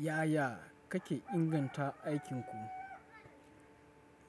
Yaya kake inganta aikinku?